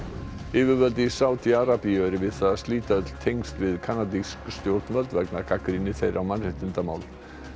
yfirvöld í Sádi Arabíu eru við það að slíta öll tengsl við kanadísk stjórnvöld vegna gagnrýni þeirra á mannréttindamál